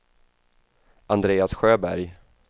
Andreas Sjöberg